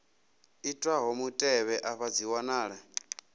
itwaho mutevhe afha dzi wanala